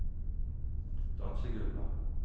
dansegulvet